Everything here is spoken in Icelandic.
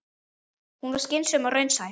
Hún var skynsöm og raunsæ.